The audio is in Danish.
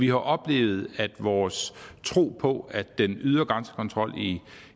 jo oplevet at vores tro på at den ydre grænsekontrol i